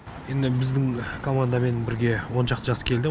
енді біздің командамен бірге он шақты жас келді